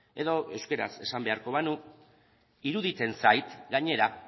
edo euskaraz esan beharko banu iruditzen zait gainera